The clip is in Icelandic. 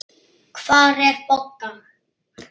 Hvar er Bogga?